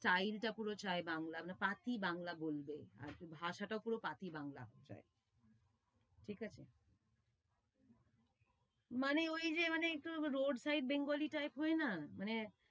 চাই যেটা পুরো চায় বাংলা, এমনি পাতি বাংলা বলবে। আর ভাষাটা পুরো পাতি বাংলা হতে চায়, ঠিক আছে? মানে ঐ যে মানে একটু road type bengali type হয় না মানে